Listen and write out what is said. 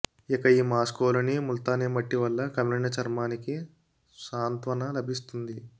ఇక ఈ మాస్క్లోని ముల్తానీ మట్టి వల్ల కమిలిన చర్మానికి సాంత్వన లభిస్తుంది